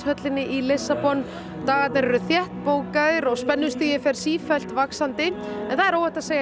höllinni í Lissabon dagarnir eru þétt bókaðir og spennustigið fer sífellt vaxandi en það er óhætt að segja